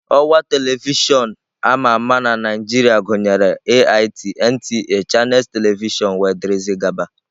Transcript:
Ọwa telivishọn ama ama na Naijiria gụnyere AIT, NTA, Channels telivishọn wdg.